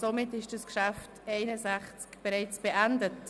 Somit ist das Traktandum 61 bereits abgeschlossen.